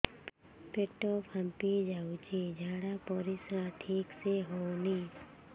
ପେଟ ଫାମ୍ପି ଯାଉଛି ଝାଡ଼ା ପରିସ୍ରା ଠିକ ସେ ହଉନି